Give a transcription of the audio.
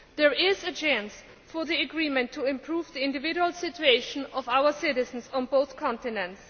There is a chance for the agreement to improve the individual situation of our citizens on both continents.